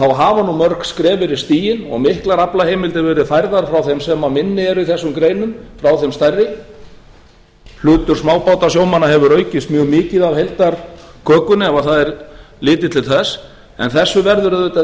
þá hafa nú mörg skref verið stigin og miklar aflaheimildir verið færðar frá þeim sem minni eru í þessum greinum frá þeim stærri hlutur smábátasjómanna hefur aukist mjög mikið af heildarkökunni ef það er litið til þess en þessu verður auðvitað